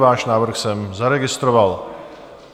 Váš návrh jsem zaregistroval.